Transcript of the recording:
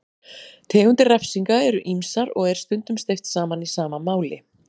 Tegundir refsinga eru ýmsar og er stundum steypt saman í sama máli.